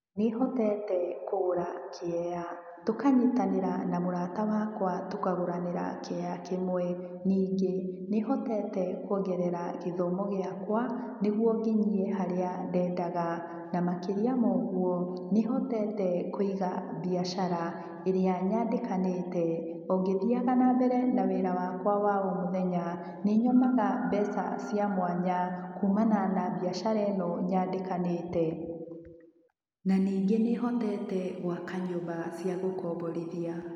Nĩhotete kũgũra kĩea. Tũkanyitanĩra na mũrata wakwa tũkagũranĩra kĩea kĩmwe. Ningĩ, nĩhotete kuongerera gĩthomo gĩakwa, nĩguo ngĩnyie harĩa ndendaga. Na makĩria ma ũguo, nĩhotete kũiga mbiacara, ĩrĩa nyandĩkanĩte, ongĩthiaga na mbere na wĩra wakwa wa o mũthenya. Nĩnyonaga mbeca cia mwanya, kumana na mbiacara ĩno nyandĩkanĩte. Na ningĩ nĩhotete gũaka nyũmba cia gũkomborithia.